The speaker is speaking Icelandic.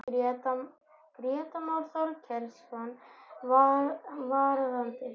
Grétar Már Þorkelsson: Varðandi?